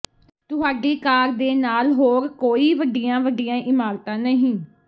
ਤੁਹਾਡੀ ਕਾਰ ਦੇ ਨਾਲ ਹੋਰ ਕੋਈ ਵੱਡੀਆਂ ਵੱਡੀਆਂ ਇਮਾਰਤਾਂ ਨਹੀਂ